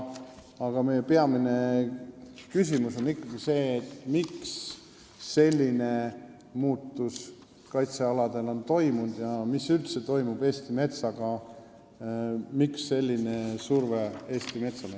Aga meie peamine küsimus on ikkagi see, miks on selline muutus kaitsealadel toimunud ja mis üldse toimub Eesti metsaga, millest on tulnud selline surve Eesti metsale.